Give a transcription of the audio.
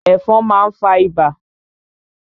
Ẹ̀fọn má n fa ibà.